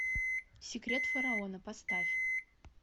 секрет фараона поставь